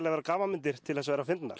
vera gamanmyndir til að vera fyndnar